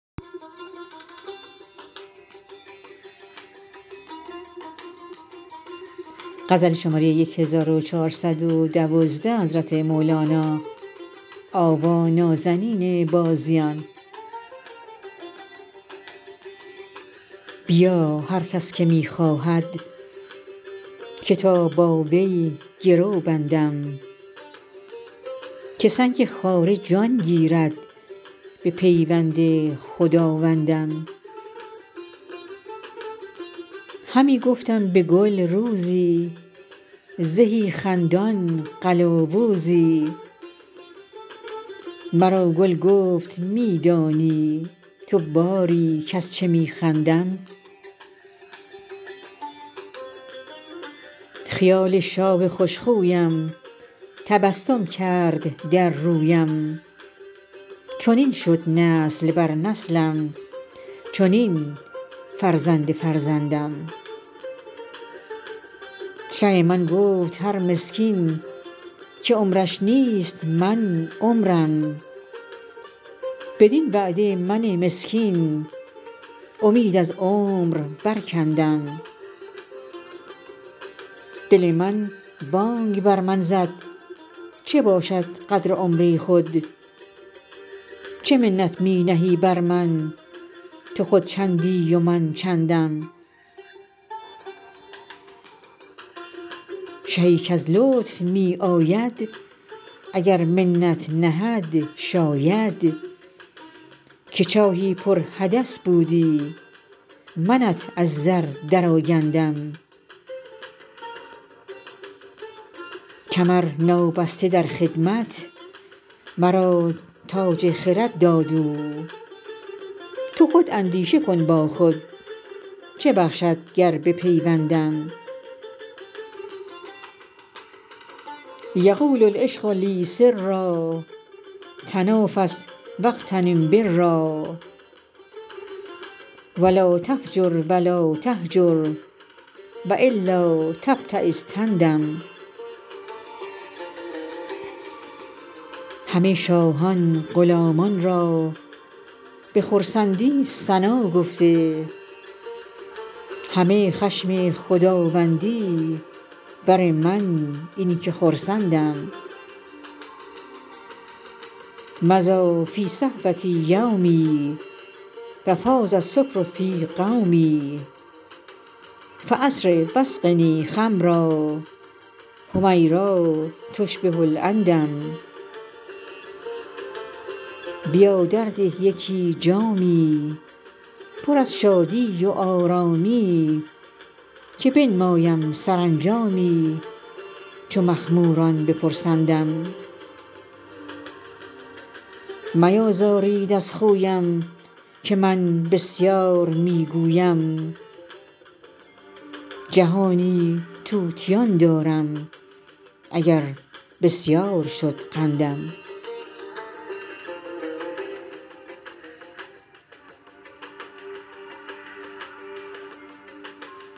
بیا هر کس که می خواهد که تا با وی گرو بندم که سنگ خاره جان گیرد بپیوند خداوندم همی گفتم به گل روزی زهی خندان قلاوزی مرا گل گفت می دانی تو باری کز چه می خندم خیال شاه خوش خویم تبسم کرد در رویم چنین شد نسل بر نسلم چنین فرزند فرزندم شه من گفت هر مسکین که عمرش نیست من عمرم بدین وعده من مسکین امید از عمر برکندم دل من بانگ بر من زد چه باشد قدر عمری خود چه منت می نهی بر من تو خود چندی و من چندم شهی کز لطف می آید اگر منت نهد شاید که چاهی پرحدث بودی منت از زر درآگندم کمر نابسته در خدمت مرا تاج خرد داد او تو خود اندیشه کن با خود چه بخشد گر بپیوندم یقول العشق لی سرا تنافس و اغتنم برا و لا تفجر و لا تهجر و الا تبتیس تندم همه شاهان غلامان را به خرسندی ثنا گفته همه خشم خداوندی بر من این که خرسندم مضی فی صحوتی یومی و فاض السکر فی قومی فاسرع و اسقنی خمرا حمیرا تشبه العندم بیا درده یکی جامی پر از شادی و آرامی که بنمایم سرانجامی چو مخموران بپرسندم میازارید از خویم که من بسیار می گویم جهانی طوطیان دارم اگر بسیار شد قندم